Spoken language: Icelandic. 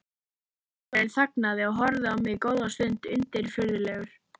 Söngvarinn þagnaði og horfði á mig góða stund undirfurðulegur.